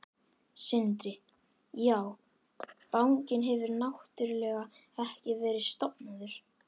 Sindri: Já, bankinn hefur náttúrulega ekki verið stofnaður?